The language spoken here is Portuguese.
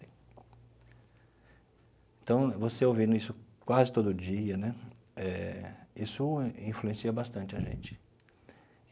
Então, você ouvindo isso quase todo dia né eh, isso influencia bastante a gente.